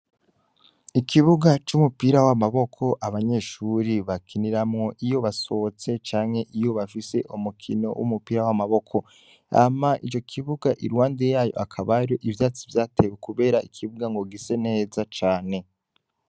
Ikibuga c'umupira w'amaboko abanyeshuri bakiniramwo iyo basohotse canke iyo bafise umukino w'umupira w'amaboko, hama ico kibuga iruhande yayo akabaro ivyatsi vyatewe kubera ikibuga ngo gise neza cane.